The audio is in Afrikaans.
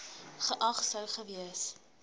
geag sou gewees